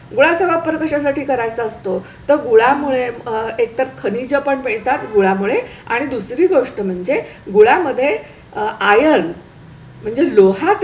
गुळा चा वापर कशासाठी करायचा असतो तर गुळा मुळे एकतर खनिज पण मिळतात गुळामुळे आणि दुसरी गोष्ट म्हणजे गुळा मध्ये iron म्हणजे लोहा